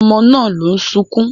Ọmọ náà ló ń sunkún